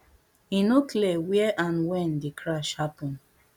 e no clear where and when di crash happen